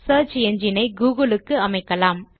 search engine ஐ Google க்கு அமைக்கலாம்